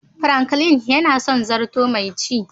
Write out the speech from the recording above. "Franklin" yana son zarto mai ci.